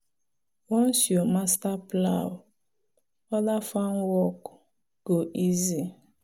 once you master plow other farm work go easy.